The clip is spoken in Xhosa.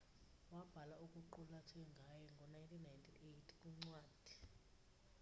wabhala okuqulathwe ngaye ngo 1998 kwincwadi